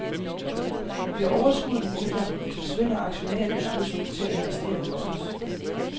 Bliver overskuddet mindre, forsvinder aktionærernes lyst til at investere hos os.